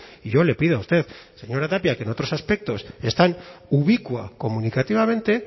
y yo le pido a usted señora tapia que en otros aspectos es tan ubicua comunicativamente